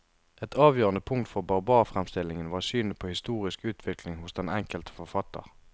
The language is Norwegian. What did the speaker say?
Et avgjørende punkt for barbarfremstillingen var synet på historisk utvikling hos den enkelte forfatter.